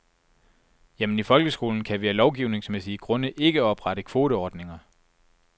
Jamen i folkeskolen kan vi af lovgivningsmæssige grunde ikke oprette kvoteordninger.